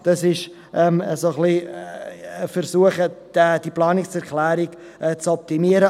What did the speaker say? Das ist ein wenig ein Versuch, diese Planungserklärung zu optimieren.